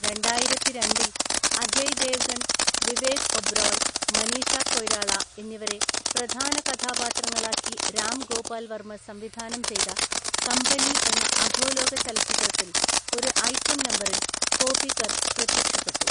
രണ്ടായിരത്തിരണ്ടില്‍ അജയ് ദേവ്ഗൺ, വിവേക് ഒബ്റോയ്, മനീഷ കൊയ്രാള എന്നിവരെ പ്രധാന കഥാപാത്രങ്ങളാക്കി രാം ഗോപാൽ വർമ്മ സംവിധാനം ചെയ്ത കമ്പനി എന്ന അധോലോക ചലച്ചിത്രത്തിൽ ഒരു ഐറ്റം നമ്പറിൽ കോപികർ പ്രത്യക്ഷപ്പെട്ടു.